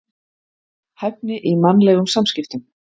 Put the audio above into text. Hæfni í mannlegum samskiptum.